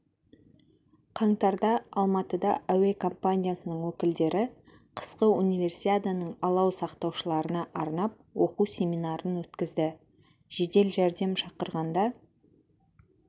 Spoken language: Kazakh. қаңтарда алматыда әуе компаниясының өкілдері қысқы универсиаданың алау сақтаушыларына арнап оқу семинарын өткізді жедел жәрдем шақырғанда